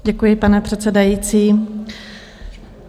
Děkuji, pane předsedající.